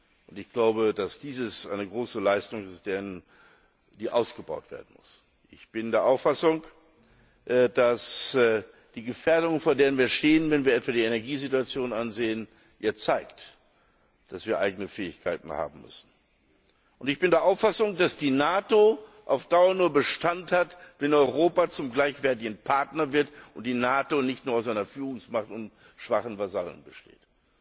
Und ich glaube, dass dieses eine große Leistung ist, die ausgebaut werden muss. Ich bin der Auffassung, dass die Gefährdungen, vor denen wir stehen, wenn wir etwa die Energiesituation ansehen, ja zeigen, dass wir eigene Fähigkeiten haben müssen. Und ich bin der Auffassung, dass die NATO auf Dauer nur Bestand hat, wenn Europa zum gleichwertigen Partner wird und die NATO nicht nur aus einer Führungsmacht und schwachen Vasallen besteht.